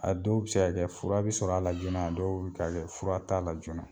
A dɔw bɛ se ka kɛ fura bi sɔr'a la joona a dɔw bɛ ka kɛ fura t'a la joona.